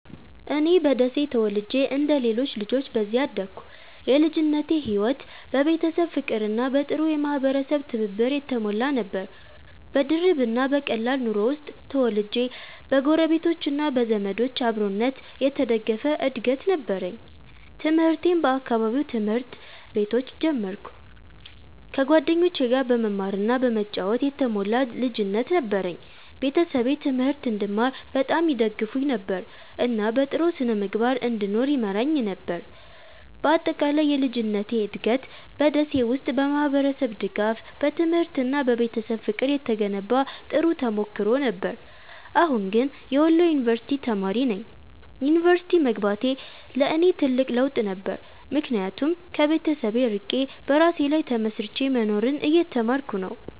እኔ በደሴ ተወልጄ እንደ ሌሎች ልጆች በዚያ አደግኩ። የልጅነቴ ሕይወት በቤተሰብ ፍቅርና በጥሩ የማህበረሰብ ትብብር የተሞላ ነበር። በድርብ እና በቀላል ኑሮ ውስጥ ተወልጄ በጎረቤቶች እና በዘመዶች አብሮነት የተደገፈ እድገት ነበረኝ። ትምህርቴን በአካባቢው ትምህርት ቤቶች ጀመርኩ፣ ከጓደኞቼ ጋር በመማር እና በመጫወት የተሞላ ልጅነት ነበረኝ። ቤተሰቤ ትምህርት እንድማር በጣም ይደግፉኝ ነበር፣ እና በጥሩ ስነ-ምግባር እንድኖር ይመራኝ ነበር። በአጠቃላይ የልጅነቴ እድገት በ ደሴ ውስጥ በማህበረሰብ ድጋፍ፣ በትምህርት እና በቤተሰብ ፍቅር የተገነባ ጥሩ ተሞክሮ ነበር። አሁን ግን የወሎ ዩንቨርስቲ ተማሪ ነኝ። ዩኒቨርሲቲ መግባቴ ለእኔ ትልቅ ለውጥ ነበር፣ ምክንያቱም ከቤተሰብ ርቄ በራሴ ላይ ተመስርቼ መኖርን እየተማርኩ ነው።